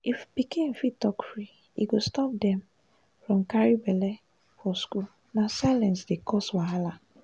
if pikin fit talk free e go stop dem from carry belle for school na silence dey cause wahala